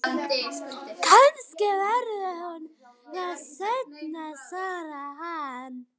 Kannski verður hún það seinna, svaraði hann.